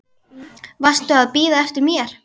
Varstu að bíða eftir mér?